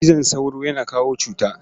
Cizon sauro yana kawo cuta.